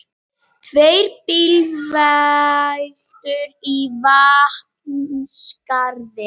Tvær bílveltur í Vatnsskarði